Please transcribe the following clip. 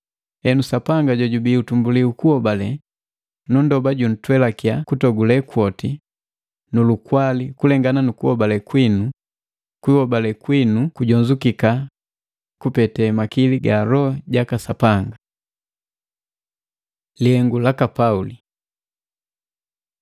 Henu Sapanga jojubii utumbuli ukuhobale, nunndoba juntwelakia kutogule kwoti nu lukwali kulengana nukuhobale kwinu, kuhobale kwinu kujonzukika kupete makili ga Loho jaka Sapanga. Lihengu laka Pauli